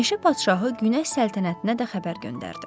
Meşə padşahı günəş səltənətinə də xəbər göndərdi.